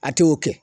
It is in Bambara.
A t'o kɛ